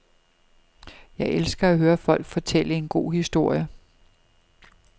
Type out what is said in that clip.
Jeg elsker at høre folk fortælle en god historie.